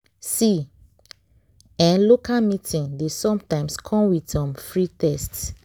see eh local meeting dey sometimes come with um free test.